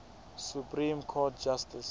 supreme court justice